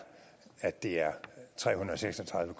at det er tre hundrede og seks og tredive